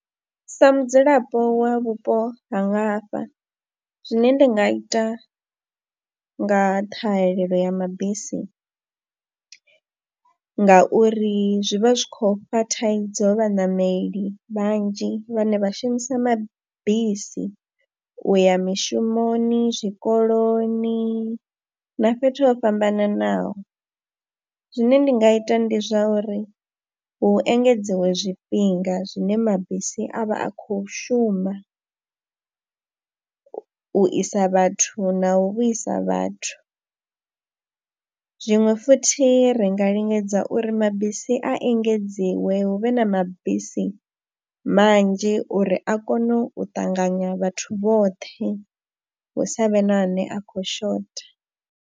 Sa mudzulapo wa vhupo ha nga hafha zwine nda nga ita nga ṱhahelelo ya mabisi ngauri zwi vha zwi khou fha thaidzo vhaṋameli vhanzhi vhane vha shumisa mabisi u ya mishumoni, zwikoloni na fhethu ho fhambananaho zwine ndi nga ita ndi zwa uri hu engedziwe zwifhinga zwine mabisi a vha a khou shuma u isa vhathu na u vhuisa vhathu. Zwiṅwe futhi ri nga lingedza uri mabisi a engedziwe, hu vhe na mabisi manzhi uri a kone u ṱanganya vhathu vhoṱhe hu sa vhe na ane a khou shotha.